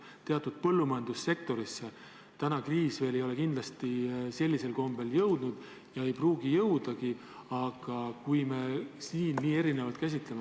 Teatud põllumajandussektoritesse kriis kindlasti veel hullul kombel jõudnud ei ole ja ei pruugigi jõuda, aga me käsitleme olukorda nii erinevalt.